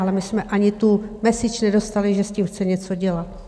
Ale my jsme ani tu message nedostali, že s tím chce něco dělat.